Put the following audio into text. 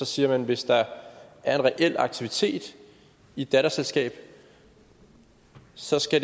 siger at hvis der er en reel aktivitet i et datterselskab så skal